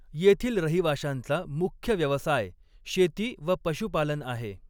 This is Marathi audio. येथील रहिवाशांचा मुख्य व्यवसाय शेती व पशुपालन आहे.